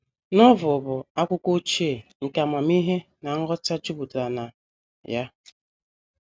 Novel bụ akwụkwọ ochie nke amamihe na nghọta jupụtara na ya.